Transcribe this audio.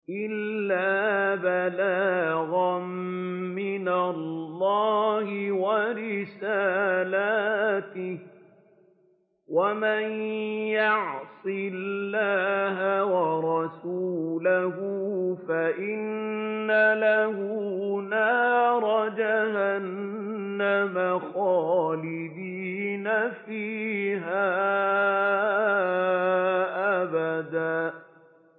إِلَّا بَلَاغًا مِّنَ اللَّهِ وَرِسَالَاتِهِ ۚ وَمَن يَعْصِ اللَّهَ وَرَسُولَهُ فَإِنَّ لَهُ نَارَ جَهَنَّمَ خَالِدِينَ فِيهَا أَبَدًا